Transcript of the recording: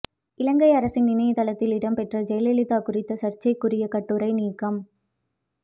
இலங்கை அரசின் இணையதளத்தில் இடம்பெற்ற ஜெயலலிதா குறித்த சர்ச்சைக்குரிய கட்டுரை நீக்கம்